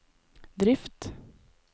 drift